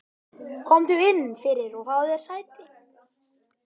Komdu inn fyrir og fáðu þér sæti.